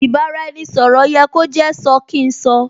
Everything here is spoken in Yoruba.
Ì bá-ra-ẹni - sọ̀rọ̀ yẹ kó jẹ́ sọ kín sọ